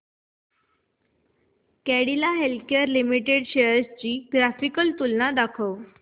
Cadila healthcare limited shares ची graphical तुलना दाखव